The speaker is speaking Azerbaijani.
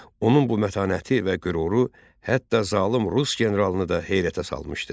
Onun bu mətanəti və qüruru hətta zalım rus generalını da heyrətə salmışdı.